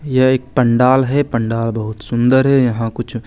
यह एक पंडाल है पंडाल बहुत सुंदर है यहां कुछ--